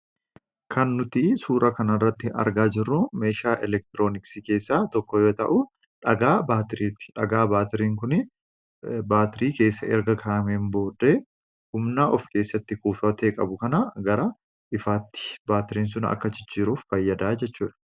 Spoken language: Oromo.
Kan nuti suuraa kanarratti argaa jirru meeshaa elektirooniksii keessaa tokko yoo ta'u, dhagaa baatirii ti. Dhagaa baatiriin kuni baatirii keessa erga kaa'ameen booddee humna of keessatti kuufatee qabu kana gara ifaatti baatiriin sun akka jijjiiruuf fayyada jechuu dha.